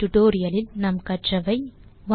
இந்த டுடோரியலில் நாம் கற்றவை 1